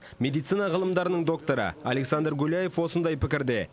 медицина ғылымдарының докторы александр гуляев осындай пікірде